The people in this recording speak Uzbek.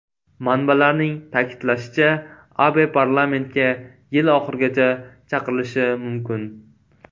Manbalarning ta’kidlashicha, Abe parlamentga yil oxirigacha chaqirilishi mumkin.